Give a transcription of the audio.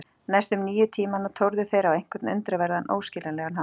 Næstu níu tímana tórðu þeir á einhvern undraverðan, óskiljanlegan hátt.